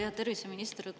Hea terviseminister!